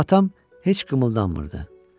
Amma atam heç qımıldanmırdı.